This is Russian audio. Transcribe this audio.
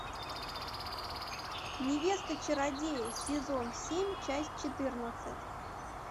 невеста чародея сезон семь часть четырнадцать